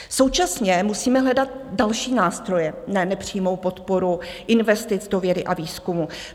Současně musíme hledat další nástroje na nepřímou podporu investic do vědy a výzkumu.